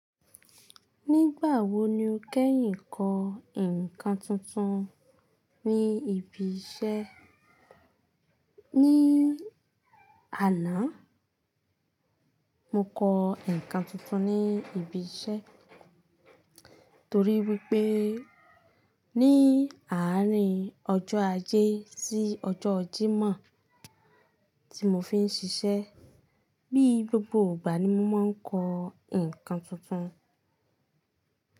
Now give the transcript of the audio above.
Nígbà wo ni o kẹ́yìn kọ ǹkan tuntun ní ibi iṣẹ́? Ní àná, mo kọ ǹkan tuntun ní ibi iṣẹ́ torí wípé ní àárín ọjọ́ Ajé sí ọjọ́ Jímọ̀ tí mo fi ń ṣiṣẹ́. Bí gbogbo ìgbà ni mo máa ń kọ ǹkan tuntun.